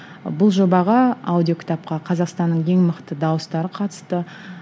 бұл жобаға аудиокітапқа қазақстанның ең мықты дауыстары қатысты